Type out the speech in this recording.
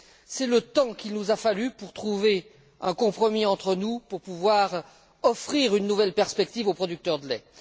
C'est le temps qu'il nous a fallu pour trouver un compromis entre nous pour pouvoir offrir une nouvelle perspective aux producteurs de lait.